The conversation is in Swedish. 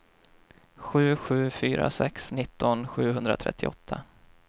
sju sju fyra sex nitton sjuhundratrettioåtta